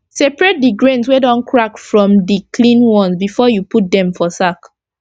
separate d grains wey don crack from d clean ones before u put dem for sack